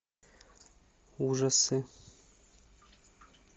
ужасы